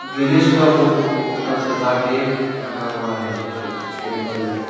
गणेश का फोटो को पूरा सजा के रखा हुआ है ये कुछ टेम्पल है।